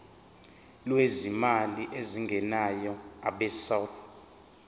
lwezimali ezingenayo abesouth